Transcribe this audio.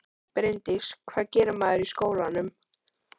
Bryndís: Hvað gerir maður í skólanum?